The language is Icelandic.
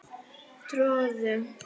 Tröðum